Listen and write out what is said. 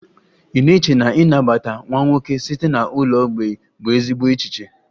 Ị na-eche na ịnabata nwa nwoke site na ụlọ mgbei bụ ezigbo echiche?